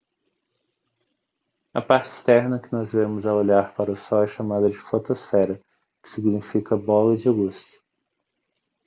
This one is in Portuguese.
a parte externa que nós vemos ao olhar para o sol é chamada de fotosfera que significa bola de luz